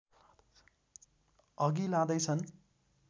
अघि लाँदैछन्